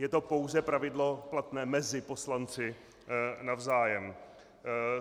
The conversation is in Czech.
Je to pouze pravidlo platné mezi poslanci navzájem.